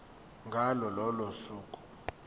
ngalo lolo suku